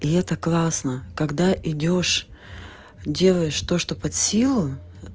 и это классно когда идёшь делаешь то что под силу